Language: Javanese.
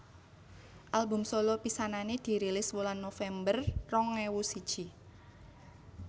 Album solo pisanané dirilis wulan November rong ewu siji